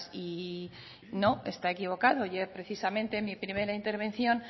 y no está equivocado yo precisamente en mi primera intervención